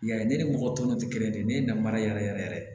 Ya ye ne ni mɔgɔ tɔw tɛ kelen ye ne ye namara yɛrɛ yɛrɛ yɛrɛ yɛrɛ